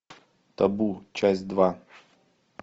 табу часть два